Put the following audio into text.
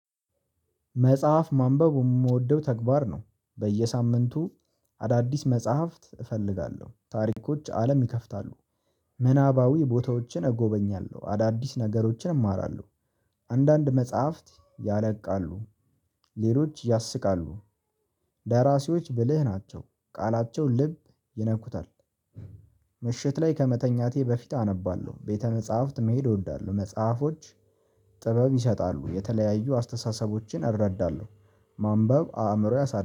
መጽሐፍ ማንበቡ የምወደው ተግባር ነው። በየሳምንቱ አዳዲስ መጽሐፍት እፈልጋለሁ ታሪኮች አለም ይከፍታሉ። ምናባዊ ቦታዎችን እጎበኛለሁ አዳዲስ ነገሮችን እማራለሁ። አንዳንድ መጽሐፍት ያረቃሉ። ሌሎች ያስቃሉ። ደራሲዎች ብልህ ናቸው ቃላቸው ልብ ይነኩታል። ምሽት ላይ ከመተኛቴ በፊት አነባለሁ ቤተ መጽሐፍት መሄድ እወዳለሁ። መጽሐፎች ጥበብ ይሰጣሉ የተለያዩ አስተሳሰቦቼን አረዳለሁ ማንበብ አእምሮዬ ያሳድጋል